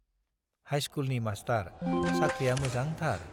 हाइस्कुलनि master, साख्रिया मोजांथार।